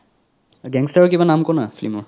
gangster ৰ কিবা নাম ক' না film ৰ